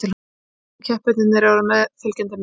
Íslensku keppendurnir eru á meðfylgjandi mynd